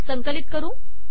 संकलित करू